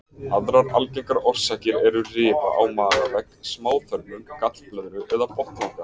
Aðrar algengar orsakir eru rifa á magavegg, smáþörmum, gallblöðru eða botnlanga.